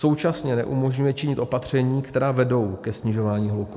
Současně neumožňuje činit opatření, která vedou ke snižování hluku.